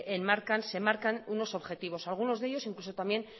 enmarcan se marcan unos objetivos algunos de ellos incluso también